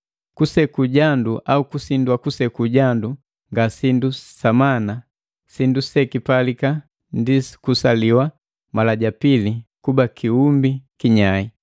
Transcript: Kuseku jandu au kusindwa kuseku jandu nga sindu samana, sindu sekipalika ndi kusaliwa mala ja pili kuba kiumbi kinyai.